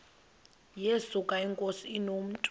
yesuka inkosi inomntu